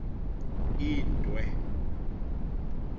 indwe